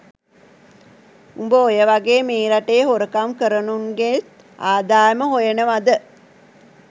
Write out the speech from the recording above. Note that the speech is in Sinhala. උඹ ඔය වගේ මේ රටේ හොරකම් කරනුන්ගේත් ආදායම හොයනවද?